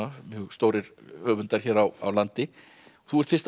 mjög stórir höfundar hér á landi þú ert fyrst að